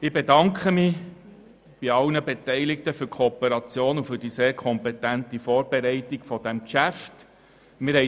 Ich bedanke mich bei allen Beteiligten für die Kooperation und die sehr kompetente Vorbereitung dieses Geschäfts.